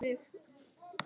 Hún roðnaði af bræði.